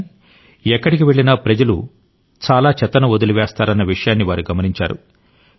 కానీ ఎక్కడికి వెళ్ళినా ప్రజలు చాలా చెత్తను వదిలివేస్తారన్న విషయాన్ని వారు గమనించారు